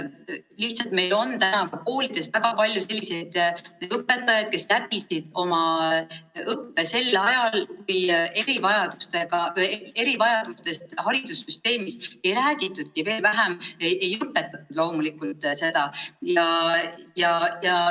Lihtsalt meil on ka koolides väga palju selliseid õpetajaid, kes läbisid oma õppe sel ajal, kui erivajadustest ja nendega arvestamisest haridussüsteemis ei räägitudki, veel vähem loomulikult seda õpetati.